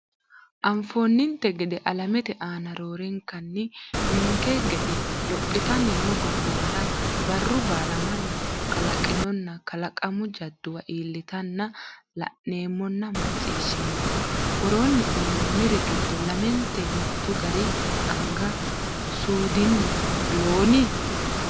Anfoonninte gede alamete aana roorenkanni ninke gede lophitanni noo gobbuwara barru baala mannu kalaqinonna kalaqamu jadduwa iillitanna la’neemmonna macciishshineemmo, Woroonni uyinoonniri giddo lamente mittu gari anga suudinni loon?